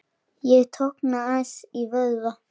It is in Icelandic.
Ég tognaði aðeins í vöðva.